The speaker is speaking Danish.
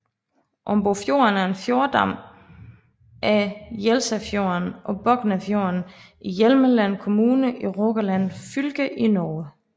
Ombofjorden er en fjordarm af Jelsafjorden og Boknafjorden i Hjelmeland kommune i Rogaland fylke i Norge